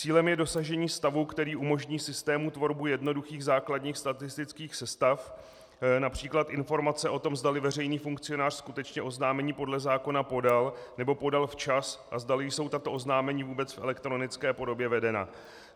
Cílem je dosažení stavu, který umožní systému tvorbu jednoduchých základních statistických sestav, například informace o tom, zdali veřejný funkcionář skutečně oznámení podle zákona podal nebo podal včas a zdali jsou tato oznámení vůbec v elektronické podobě vedena.